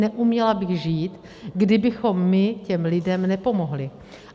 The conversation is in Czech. Neuměla bych žít, kdybychom my těm lidem nepomohli.